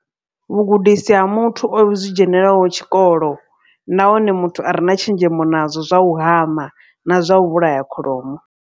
Vhugudisi ha muthu o zwi dzhenelaho tshikolo. Nahone muthu a re na tshenzhemo nazwo zwa u hama na zwa u vhulaya kholomo.